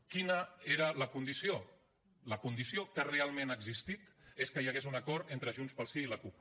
quina era la condició la condició que realment ha existit és que hi hagués un acord entre junts pel sí i la cup